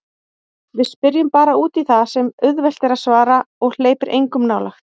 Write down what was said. Við spyrjum bara útí það sem er auðvelt að svara og hleypir engum nálægt.